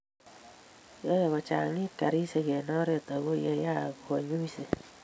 yae kochangit karishek eng oret ako yeyaak kanyuiset